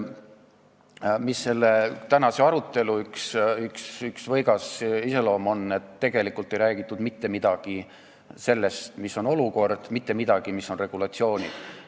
Selle tänase arutelu võigas iseloom on ka selles, et tegelikult ei räägitud mitte midagi sellest, mis on olukord, mitte midagi ei räägitud sellest, mis on regulatsioonid.